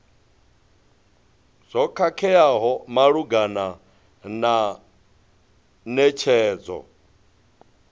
zwo khakheaho malugana na netshedzo